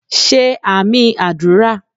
Ṣé àmín àdúrà